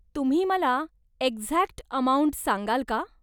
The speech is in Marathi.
तुम्ही मला एक्झॅक्ट अमाउंट सांगाल का?